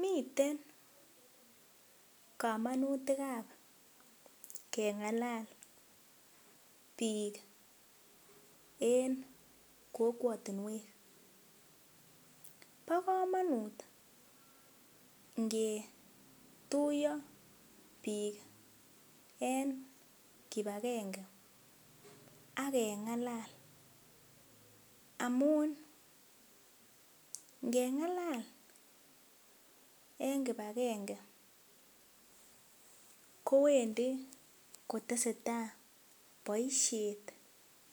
Miten kamanutik ab kengalal bik en kokwatinwek ba kamanut ngetuiyo bik en kibagenge agengalal amun ngengalal en kibagenge kowendi kotestai baishet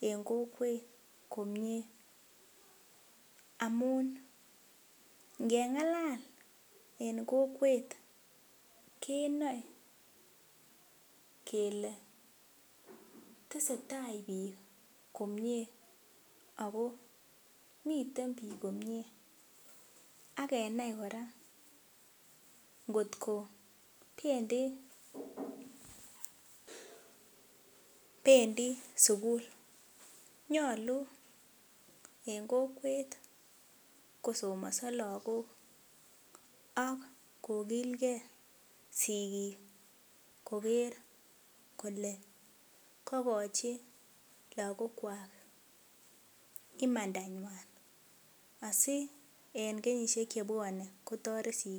en kokwet komie amun ngengalal en kokwet kenae kele tesetai bik komie ako miten bik komie akenai koraa kot ko bendi sukul nyalu en kokwet kosomaso lagok ak kokil gei sigik Koger Kole kakachi lagok Kwak imanda ywan si en kenyishek chebwanen kotaret sikik chwak